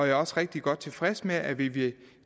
er også rigtig godt tilfreds med at vi ved